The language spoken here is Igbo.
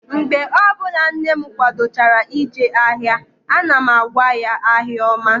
Mgbe ọbụla nne m kwadochara ije ahịa, ana m agwa ya, "ahịa ọma"